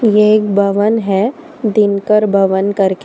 ये एक भवन है दिनकर भवन करके।